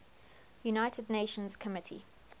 united nations committee